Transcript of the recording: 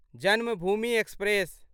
Janmabhoomi express